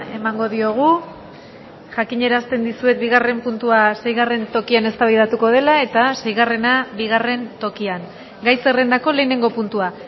emango diogu jakinarazten dizuet bigarren puntua seigarren tokian eztabaidatuko dela eta seigarrena bigarren tokian gai zerrendako lehenengo puntua